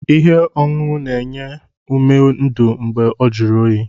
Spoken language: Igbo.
Ihe ọṅụṅụ na-enye ume ndụ mgbe ọ jụrụ oyi.